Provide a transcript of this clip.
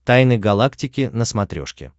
тайны галактики на смотрешке